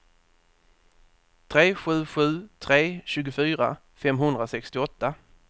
tre sju sju tre tjugofyra femhundrasextioåtta